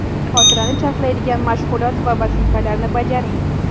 Xotirani charxlaydigan mashg‘ulot va vazifalarni bajaring.